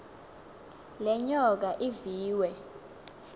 le nyoka iviwe